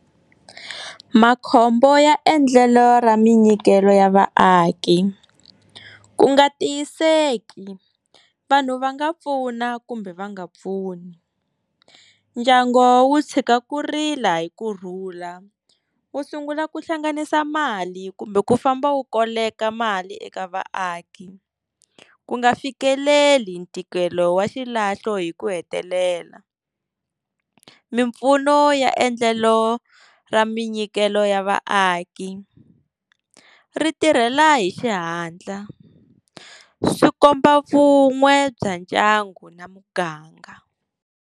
Makhombo ya endlelo ra minyikelo ya vaaki ku nga tiyiseki hi vanhu va nga pfuna kumbe va nga pfuni ndyango wu tshika ku rila hi ku rhula wu sungula ku hlanganisa mali kumbe ku famba wu koleka mali eka vaaki ku nga fikeleli ntikelo wa xilahlo hi ku hetelela mimpfuno ya endlelo ro minyikelo ya vaaki ri tirhela hi xihatla swi komba vun'we bya ndyangu na muganga.